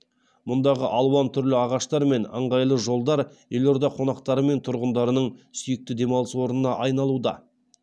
мұндағы алуан түрлі ағаштар мен ыңғайлы жолдар елорда қонақтары мен тұрғындарының сүйікті демалыс орнына айналуда